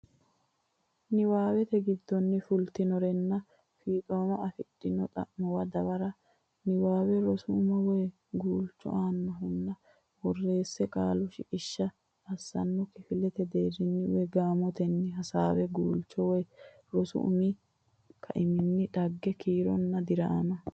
niwaate giddonni fultinorenna fiixooma afidhino xa muwa dawara Niwaawe rosu umo woy guulcho annohunni borreessa Qaalu shiqishsha assanna kifilete deerrinni woy gaamotenni hasaawa Guulchu woy rosu umi kaiminni dhagge kiironna diraama.